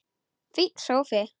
Fínn sófi!